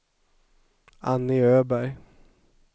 Annie Öberg